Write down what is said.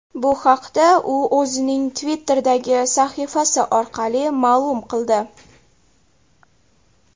Bu haqda u o‘zining Twitter’dagi sahifasi orqali ma’lum qildi .